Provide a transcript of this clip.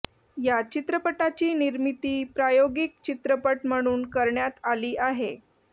या चित्रपटाची निर्मिती प्रायोगिक चित्रपट म्हणून करण्यात आली आहे